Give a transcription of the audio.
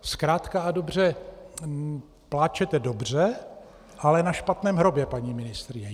Zkrátka a dobře, pláčete dobře, ale na špatném hrobě, paní ministryně.